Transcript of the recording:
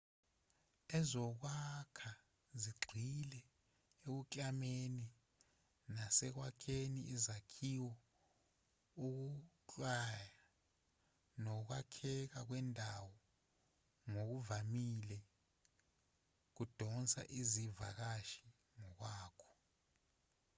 ezokwakha zigxile ekuklameni nasekwakheni izakhiwo ukuklanywa nokwakheka kwendawo ngokuvamile kudonsa izivakashi ngokwakho